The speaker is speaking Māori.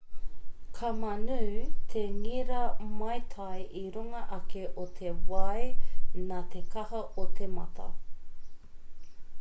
ka mānū te ngira maitai i runga ake o te wai nā te kaha o te mata